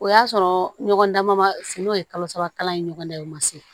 O y'a sɔrɔ ɲɔgɔn dama fe n'o ye kalo saba kalan ye ɲɔgɔn da ye o ma se